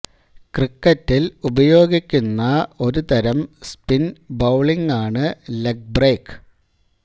ക്രിക്കറ്റിൽ ഉപയോഗിക്കുന്ന ഒരു തരം സ്പിൻ ബൌളിങ്ങാണ് ലെഗ് ബ്രേക്ക്